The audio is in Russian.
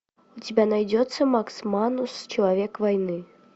у тебя найдется макс манус человек войны